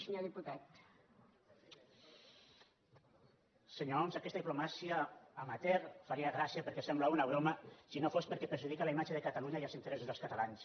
senyor homs aquesta diplomàcia amateur faria gràcia perquè sembla una broma si no fos perquè perjudica la imatge de catalunya i els interessos dels catalans